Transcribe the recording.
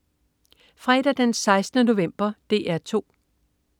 Fredag den 16. november - DR 2: